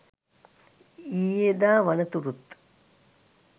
ඊයේදා වනතුරුත්